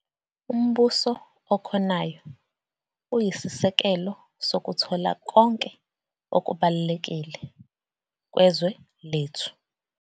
Umbuso okhonayo uyisisekelo sokuthola konke okubalulekile kwezwe lethu.